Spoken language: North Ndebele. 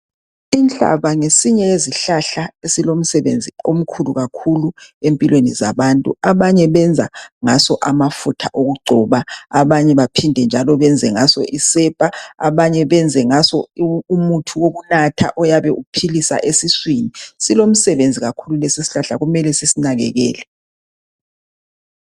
inhlaba ngesinye yezihlahla esilomsebenzi omkhulu kakhulu empilweni zabantu abanye benza ngaso amafutha okugcoba abanye baphinde njalo benze ngaso isepa abanye benze ngaso umuthi wokunatha oyabe uphilisa esiswini silomsebenzi kakhulu lesi isihlahla kumele sisinakekele